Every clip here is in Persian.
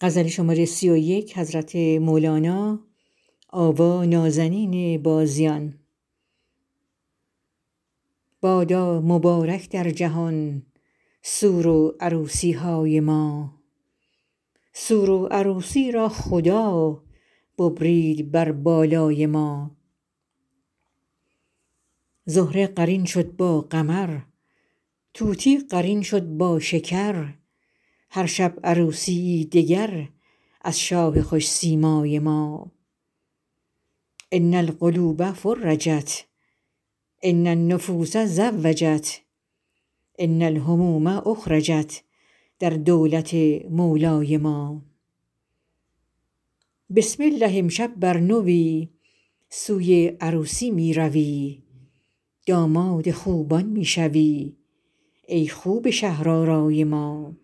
بادا مبارک در جهان سور و عروسی های ما سور و عروسی را خدا ببرید بر بالای ما زهره قرین شد با قمر طوطی قرین شد با شکر هر شب عروسی یی دگر از شاه خوش سیمای ما ان القلوب فرجت ان النفوس زوجت ان الهموم اخرجت در دولت مولای ما بسم الله امشب بر نوی سوی عروسی می روی داماد خوبان می شوی ای خوب شهرآرای ما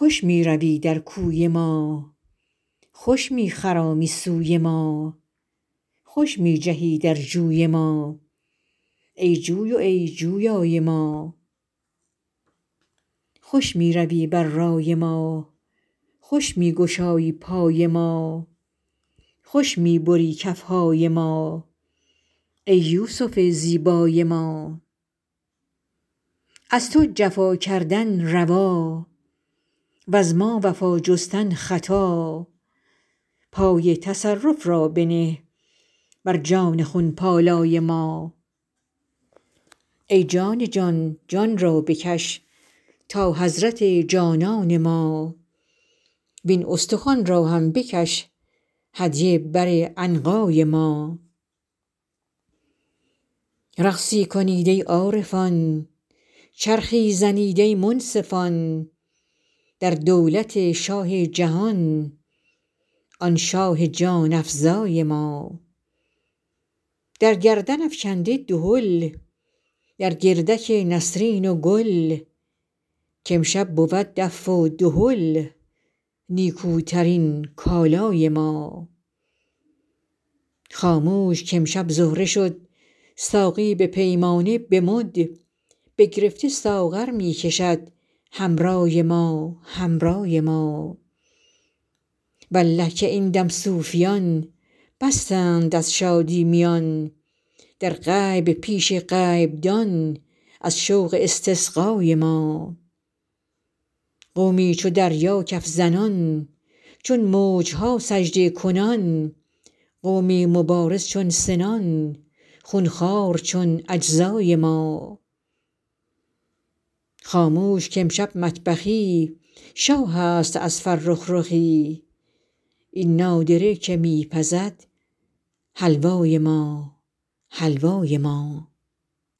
خوش می روی در کوی ما خوش می خرامی سوی ما خوش می جهی در جوی ما ای جوی و ای جویای ما خوش می روی بر رای ما خوش می گشایی پای ما خوش می بری کف های ما ای یوسف زیبای ما از تو جفا کردن روا وز ما وفا جستن خطا پای تصرف را بنه بر جان خون پالای ما ای جان جان جان را بکش تا حضرت جانان ما وین استخوان را هم بکش هدیه بر عنقای ما رقصی کنید ای عارفان چرخی زنید ای منصفان در دولت شاه جهان آن شاه جان افزای ما در گردن افکنده دهل در گردک نسرین و گل که امشب بود دف و دهل نیکوترین کالای ما خاموش که امشب زهره شد ساقی به پیمانه و به مد بگرفته ساغر می کشد حمرای ما حمرای ما والله که این دم صوفیان بستند از شادی میان در غیب پیش غیبدان از شوق استسقای ما قومی چو دریا کف زنان چون موج ها سجده کنان قومی مبارز چون سنان خون خوار چون اجزای ما خاموش که امشب مطبخی شاهست از فرخ رخی این نادره که می پزد حلوای ما حلوای ما